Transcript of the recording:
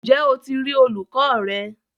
Ǹjẹ́ o ti rí olùkọ rẹ?